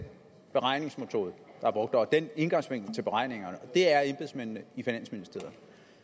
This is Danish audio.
beregningsmetode der er brugt og den indgangsvinkel til beregningerne og det er embedsmændene i finansministeriet